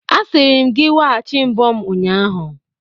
Asịrim gị weghachi mbo m ụnyahụ!